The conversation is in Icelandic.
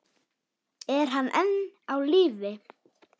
Er hann enn á lífi?